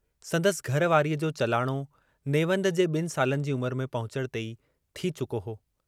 संदसि घर वारीअ जो चालाणो नेवंद जे बन सालनि जी उमुरु में पहुचण ते ई थी चुको हो।